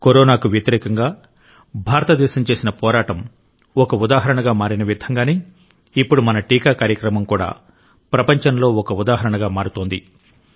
కరోనాకు వ్యతిరేకంగా భారతదేశం చేసిన పోరాటం ఒక ఉదాహరణగా మారినవిధంగానే ఇప్పుడు మన టీకా కార్యక్రమం కూడా ప్రపంచంలో ఒక ఉదాహరణగా మారుతోంది